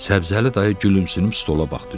Səbzəli dayı gülümsünüb stola baxdı.